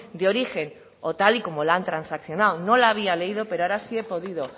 de origen o tal y como la han transaccionado no la había leído pero ahora si he podido